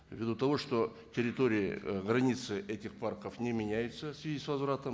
ввиду того что территория ы границы этих парков не меняются в связи с возвратом